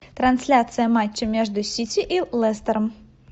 трансляция матча между сити и лестером